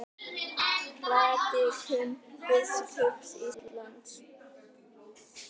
Prédikun biskups Íslands